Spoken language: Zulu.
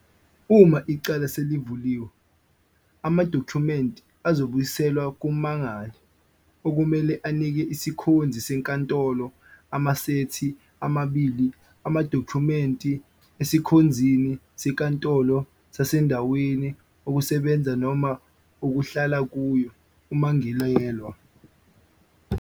Uma icala selivuliwe, amadokhumenti azobuyiselwa kummangali, okumele anike isikhonzi senkantolo amasethi amabili amadokhumenti esikhonzini senkantolo sasendaweni okusebenza noma okuhlala kuyo ummangalelwa.